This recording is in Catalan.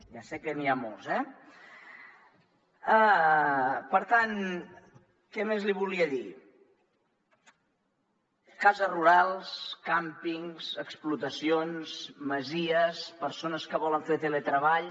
ja sé que n’hi ha molts eh per tant què més li volia dir cases rurals càmpings explotacions masies persones que volen fer teletreball